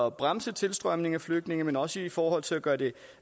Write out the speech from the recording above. at bremse tilstrømningen af flygtninge men også i forhold til at gøre det